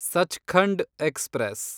Sachkhand express